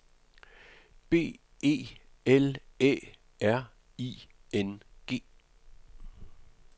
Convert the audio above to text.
B E L Æ R I N G